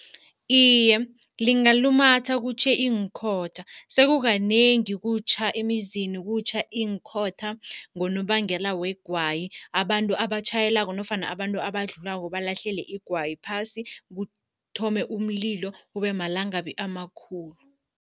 Iye, lingalumatha kutjhe iinkhotha. Sekukanengi kutjha emizini, kutjha iinkhotha ngonobangela wegwayi. Abantu abatjhayelako nofana abantu abadlulako balahlele igwayi phasi, kuthome umlilo kube malangabi amakhulu.